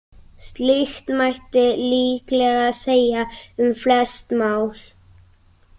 Slíkt mætti líklega segja um flest mál.